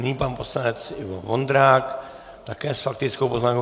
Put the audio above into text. Nyní pan poslanec Ivo Vondrák také s faktickou poznámkou.